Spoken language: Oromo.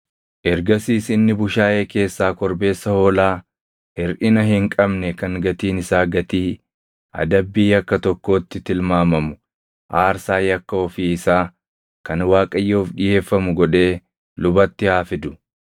Ergasiis inni bushaayee keessaa korbeessa hoolaa hirʼina hin qabne kan gatiin isaa gatii adabbii yakka tokkootti tilmaamamu aarsaa yakka ofii isaa kan Waaqayyoof dhiʼeeffamu godhee lubatti haa fidu.